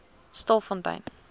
stilfontein